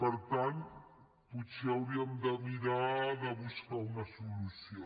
per tant potser hauríem de mirar de buscar hi una solució